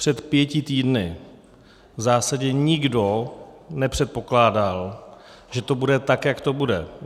Před pěti týdny v zásadě nikdo nepředpokládal, že to bude tak, jak to bude.